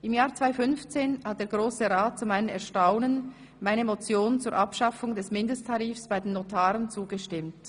Im Jahr 2015 hat der Grosse Rat zu meinem Erstaunen meiner Motion zur Abschaffung des Mindesttarifs bei den Notaren zugestimmt.